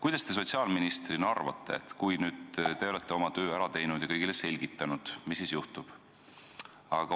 Mida te sotsiaalministrina arvate, kui te olete oma töö ära teinud ja kõigile seda selgitanud, mis siis juhtub?